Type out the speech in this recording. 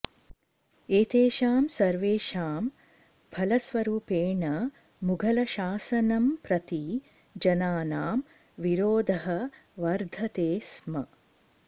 एतेषां सर्वेषां फलस्वरूपेण मुघलशासनं प्रति जनानां विरोधः वर्धते स्म